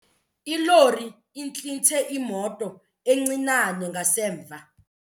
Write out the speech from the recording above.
Ilori intlithe imoto encinane ngasemva.